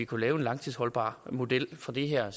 kunne lave en langtidsholdbar model for det her er